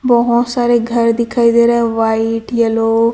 बहोत सारे घर दिखाई दे रहा है व्हाइट येलो --